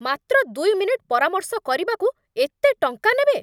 ମାତ୍ର ଦୁଇ ମିନିଟ୍ ପରାମର୍ଶ କରିବାକୁ, ଏତେ ଟଙ୍କା ନେବେ!